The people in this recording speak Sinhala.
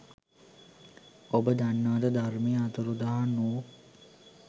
ඔබ දන්නවද ධර්මය අතුරුදහන් වූ